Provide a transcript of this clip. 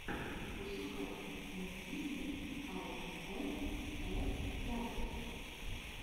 пошукай мультфильмы ай эм э дакхэд